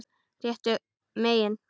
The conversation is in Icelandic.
Réttu megin?